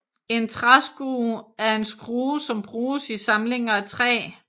En træskrue er en skrue som bruges i samlinger af træ